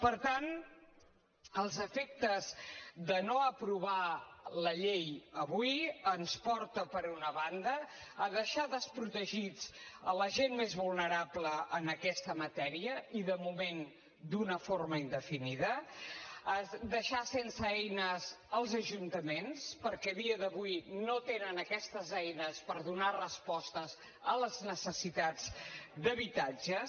per tant els efectes de no aprovar la llei avui ens porten per una banda a deixar desprotegida la gent més vulnerable en aquesta matèria i de moment d’una forma indefinida a deixar sense eines els ajuntaments perquè a dia d’avui no tenen aquestes eines per donar respostes a les necessitats d’habitatges